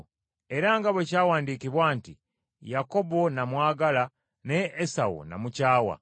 Era nga bwe kyawandiikibwa nti, “Yakobo namwagala, naye Esawu namukyawa.”